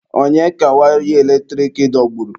Onye ka waya eletrik dọgburu?